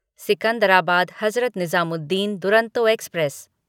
Secunderabad Hazrat Nizamuddin Duronto express